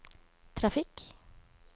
trafikk